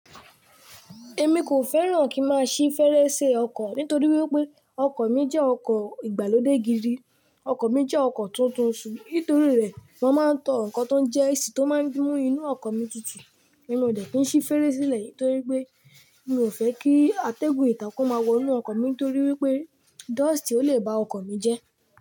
Èmi kò fẹ́ràn kí n máa ṣí fèrèsé ọkọ̀ nítorí wípé ọkọ̀ mi jẹ́ ọkọ̀ ìgbàlódé gidi, ọkọ̀ mi jẹ́ ọkọ̀ tuntun, ṣùgbọ́n nítorí rẹ̀ mo máa ń tọn ǹkan tó ń jẹ́ AC tó máa ń mú inú ọkọ̀ mi tutù, èmi ò jẹ̀ kí n ṣí fèrèsé silẹ̀ nítorí pé mi ò fẹ́ kí atẹ́gùn ìtà kò máa wọ inú ọkọ̀ mi torí wípé dọ́ọ̀stì ó lè ba ọkọ̀ mi jẹ́